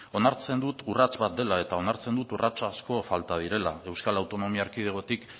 onartzen dut urrats bat dela eta onartzen dut urrats asko falta direla euskal autonomia erkidegotik